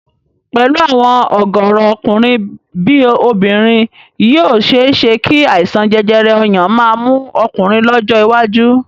Pẹ̀lú àwọn ọ̀gọ̀ọ̀rọ̀ ọkùnrin bí obìnrin yìí ó ṣe é ṣé kí àìsàn jẹjẹrẹ ọyàn máa mú ọkùnrin lọ́jọ́ iwájú